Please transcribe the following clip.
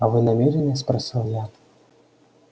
а вы намерены спросил я